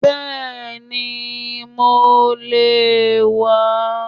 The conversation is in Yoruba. Bẹ́ẹ̀ni mo lè wàá